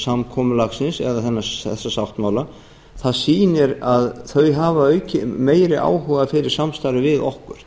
samkomulagsins eða þessa sáttmála það sýnir að þau hafa meiri áhuga á samstarfi við okkur